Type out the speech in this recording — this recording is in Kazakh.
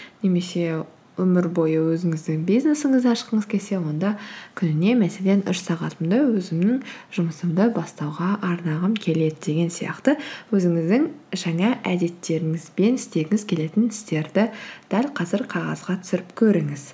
немесе өмір бойы өзіңіздің бизнесіңізді ашқыңыз келсе онда күніне мәселен үш сағатымды өзімнің жұмысымды бастауға арнағым келеді деген сияқты өзіңіздің жаңа әдеттеріңіз бен істегіңіз келетін істерді дәл қазір қағазға түсіріп көріңіз